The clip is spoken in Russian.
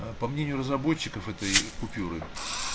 аа по мнению разработчиков этой ээ купюры